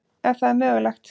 Ef það er mögulegt.